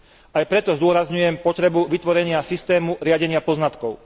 Aj preto zdôrazňujem potrebu vytvorenia systému riadenia poznatkov.